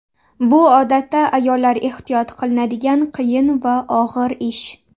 Bu odatda ayollar ehtiyot qilinadigan qiyin va og‘ir ish.